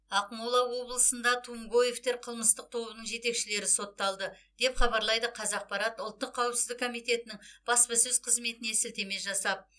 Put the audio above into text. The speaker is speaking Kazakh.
ақмола облысында тумгоевтер қылмыстық тобының жетекшілері сотталды деп хабарлайды қазақпарат ұлттық қауіпсіздік комитетінің баспасөз қызметіне сілтеме жасап